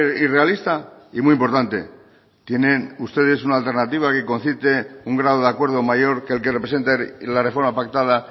y realista y muy importante tienen ustedes una alternativa que concite un grado de acuerdo mayor que el que representa la reforma pactada